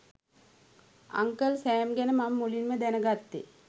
uncle Sam ගැන මම මුලින්ම දැනගත්තේ